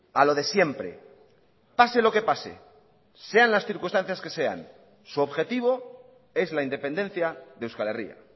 a lo de siempre pase lo que pase sean las circunstancias que sean su objetivo es la independencia de euskal herria